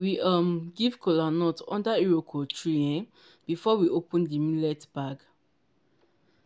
we um give kola nut under iroko tree um before we open di millet bag.